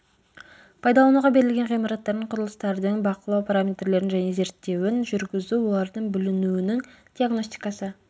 пайдалануға берілген ғимараттардың құрылыстардың бақылау параметрлерін және зерттеуін жүргізу олардың бүлінуінің диагностикасы